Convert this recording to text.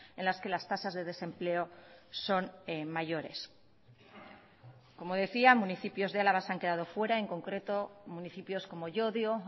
en las que las tasas de desempleo son mayores como decía municipios de álava se han quedado fuera en concreto municipios como llodio